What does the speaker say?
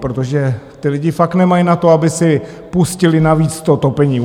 Protože ty lidi fakt nemají na to, aby si pustili navíc to topení.